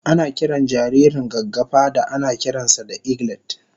Ana kiran jaririn gaggafa da anakiran sa da eglet